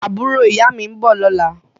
Àbúrò ìyá mi ń bọ̀ lọ́la